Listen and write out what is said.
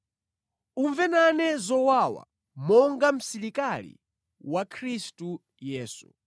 Umve nane zowawa, monga msilikali wa Khristu Yesu.